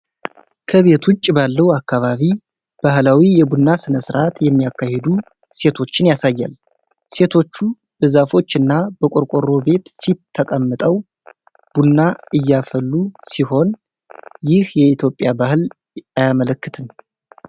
ከቤት ውጭ ባለው አካባቢ ባህላዊ የቡና ሥነ ሥርዓት የሚያካሂዱ ሴቶችን ያሳያል፤ ሴቶቹ በዛፎች እና በቆርቆሮ ቤት ፊት ተቀምጠው ቡና እያፈላ ሲሆን ይህ የኢትዮጵያን ባህል አያመለክትም?